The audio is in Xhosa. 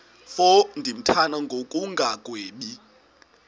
mfo ndimthanda ngokungagwebi